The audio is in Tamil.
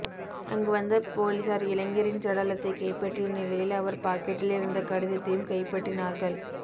அங்கு வந்த பொலிசார் இளைஞரின் சடலத்தை கைப்பற்றிய நிலையில் அவர் பாக்கெட்டில் இருந்த கடிதத்தையும் கைப்பற்றினார்கள்